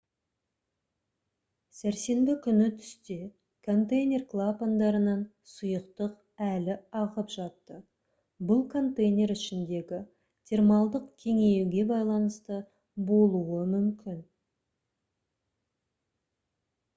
сәрсенбі күні түсте контейнер клапандарынан сұйықтық әлі ағып жатты бұл контейнер ішіндегі термалдық кеңеюге байланысты болуы мүмкін